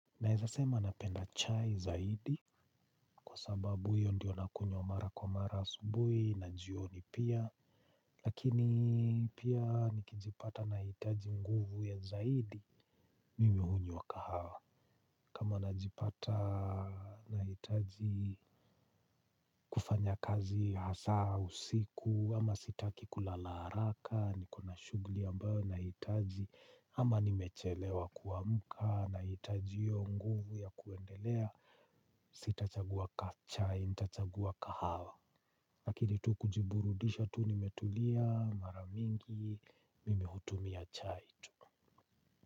Naeza sema napenda chai zaidi kwa sababu hiyo ndiyo nakunywa mara kwa mara asubuhi na jioni pia. Lakini pia nikijipata na hitaji nguvu ya zaidi mimi hunywa kahawa. Kama najipata nahitaji kufanya kazi hasa usiku ama sitaki kulala haraka nikona shuguli ambayo inahitaji ama nimechelewa kuamka nahitaji hiyo nguvu ya kuendelea. Sitachagua chai, nitachagua kahawa. Lakini tu kujiburudisha tu nimetulia maramingi, mimehutumia chai tu.